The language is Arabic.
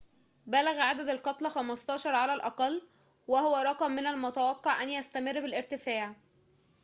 بلغ عدد القتلى 15 على الأقل وهو رقم من المتوقع أن يستمر بالارتفاع